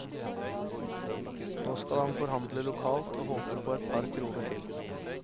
Nå skal han forhandle lokalt og håper på et par kroner til.